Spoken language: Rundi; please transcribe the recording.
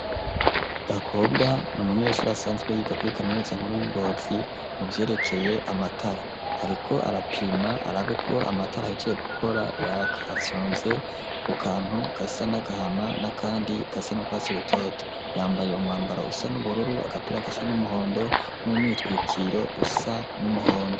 Uwo mukobwa n'umunyeshure asanzwe yiga kuri kaminuza nkuru y'i Ngozi mu vyerekeye amatara. Ariko arapima arabe ko amatara yahejeje gukora. Afyonze ku kantu gasa n'agahama n'akandi gasa n'urwatsi rutoto. Yambaye umwambaro usa n'ubururu, agapira gasa n'umuhondo n'umwitwikiro usa n'umuhondo.